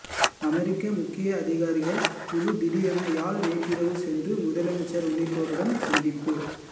அமெரிக்க முக்கிய அதிகாரிகள் குழு திடீரென யாழ் நேற்றிரவு சென்று முதலமைச்சர் உள்ளிட்டோருடன் சந்திப்பு